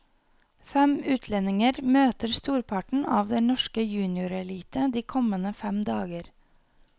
Fem utlendinger møter storparten av den norske juniorelite de kommende fem dager.